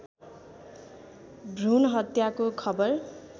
भ्रूण हत्याको खबर